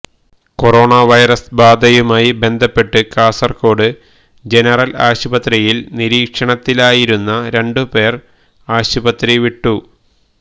corona virus ബാധയുമായി ബന്ധപ്പെട്ട് Kasaragod general ആശുപത്രിയില് നിരീക്ഷണത്തിലായിരുന്ന രണ്ട് പേർ ആശുപത്രി വിട്ടു